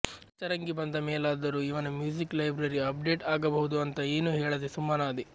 ಪಂಚರಂಗಿ ಬಂದ ಮೇಲಾದರು ಇವನ ಮ್ಯುಸಿಕ್ ಲೈಬ್ರರಿ ಅಪ್ಡೆಟ್ ಆಗಬಹುದು ಅಂತ ಏನು ಹೇಳದೆ ಸುಮ್ಮನಾದೆ